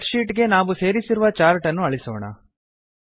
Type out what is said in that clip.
spread sheet ಗೆ ನಾವು ಸೇರಿಸಿರುವ ಚಾರ್ಟ್ ಅನ್ನು ಅಳಿಸೋಣ